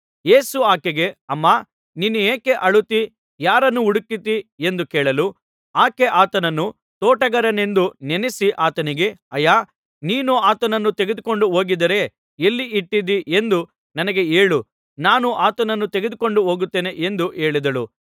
ಯೇಸು ಆಕೆಗೆ ಅಮ್ಮಾ ನೀನು ಯಾಕೆ ಅಳುತ್ತೀ ಯಾರನ್ನು ಹುಡುಕುತ್ತೀ ಎಂದು ಕೇಳಲು ಆಕೆ ಆತನನ್ನು ತೋಟಗಾರನೆಂದು ನೆನಸಿ ಆತನಿಗೆ ಅಯ್ಯಾ ನೀನು ಆತನನ್ನು ತೆಗೆದುಕೊಂಡು ಹೋಗಿದ್ದರೆ ಎಲ್ಲಿ ಇಟ್ಟಿದ್ದೀ ಎಂದು ನನಗೆ ಹೇಳು ನಾನು ಆತನನ್ನು ತೆಗೆದುಕೊಂಡು ಹೋಗುತ್ತೇನೆ ಎಂದು ಹೇಳಿದಳು